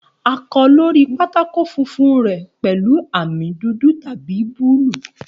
A kọ lori pátákó funfun rẹ pẹlu ami dudu tabi buluu.